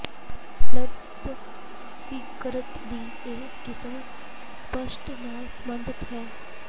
ਉਪਲੱਬਧ ਸਿਗਰਟ ਦੀ ਇਹ ਕਿਸਮ ਸਪਸ਼ਟ ਨਾਲ ਸਬੰਧਤ ਹੈ